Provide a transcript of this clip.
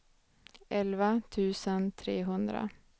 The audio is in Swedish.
elva tusen trehundra